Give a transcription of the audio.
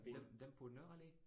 Dem dem på Nørre Allé?